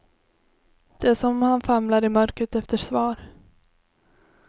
Det är som om han famlar i mörkret efter svar.